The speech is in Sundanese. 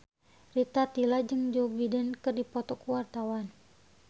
Rita Tila jeung Joe Biden keur dipoto ku wartawan